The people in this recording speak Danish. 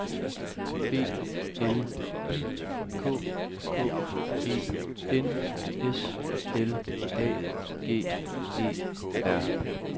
B L I K K E N S L A G E R